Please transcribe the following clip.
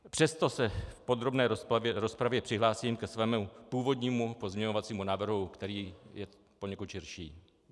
Přesto se v podrobné rozpravě přihlásím ke svému původnímu pozměňovacímu návrhu, který je poněkud širší.